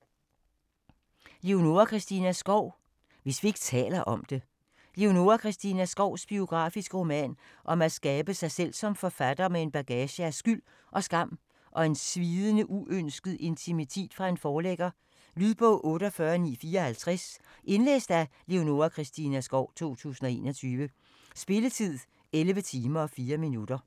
Skov, Leonora Christina: Hvis vi ikke taler om det Leonora Christina Skovs biografiske roman om at skabe sig selv som forfatter med en bagage af skyld og skam og en svidende uønsket intimitet fra en forlægger. Lydbog 48954 Indlæst af Leonora Christina Skov, 2021. Spilletid: 11 timer, 4 minutter.